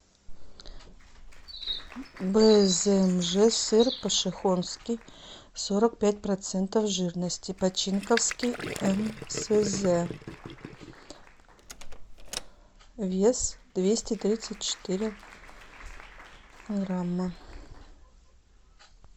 бзмж сыр пошехонский сорок пять процентов жирности починковский мсз вес двести тридцать четыре грамма